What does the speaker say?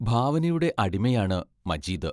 ഭാവനയുടെ അടിമയാണ് മജീദ്.